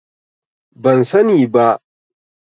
Ban sani ba.